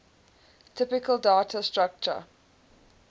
typical data structure